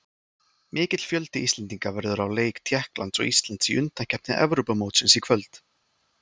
Mikill fjöldi Íslendinga verður á leik Tékklands og Íslands í undankeppni Evrópumótsins í kvöld.